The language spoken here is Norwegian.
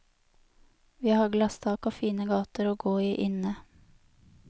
Vi har glasstak og fine gater å gå i inne.